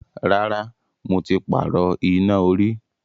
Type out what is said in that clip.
Rárá, mo ti pààrọ̀ iná orí.